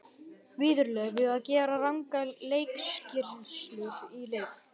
Viðurlög við að gera rangar leikskýrslur í leik?